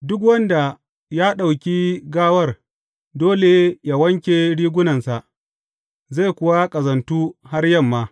Duk wanda ya ɗauki gawar dole yă wanke rigunansa, zai kuwa ƙazantu har yamma.